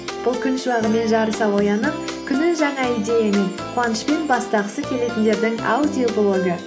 бұл күн шуағымен жарыса оянып күнін жаңа идеямен қуанышпен бастағысы келетіндердің аудиоблогы